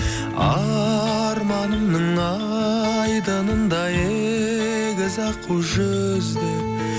арманымның айдынында егіз аққу жүзді